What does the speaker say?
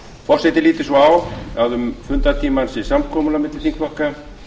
forseti lítur svo á að um fundartímann sé samkomulag milli þingflokka